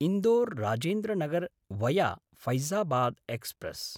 इन्दोर्–राजेन्द्र Nagar via Faizabad express